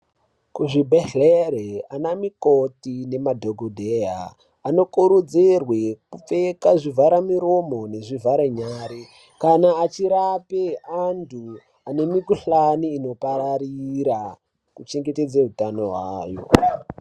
Kuzvibhedhleri ana mikoti nemadhokodheya anokurudzirwe kupfeka zvivhara miromo nezvivhare nyare kana achirape antu ane mikhuhlani inopararira kuchengetedze utano hwawo.